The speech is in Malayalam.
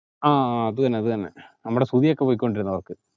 ആ അതെന്നെ അതെന്നെ നമ്മടെ സുധിയൊക്കെ പോയിക്കൊണ്ടിരുന്ന work